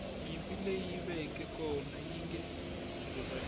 nyimpi leyi veke kona yinge rivaliwi